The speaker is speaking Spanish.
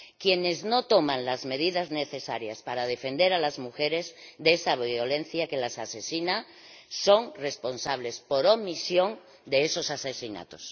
Quienes no toman las medidas necesarias para defender a las mujeres de esa violencia que las asesina son responsables, por omisión, de esos asesinatos.